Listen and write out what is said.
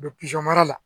U bɛ mara la